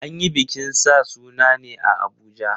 An yi bikin sa sunan ne a Abuja.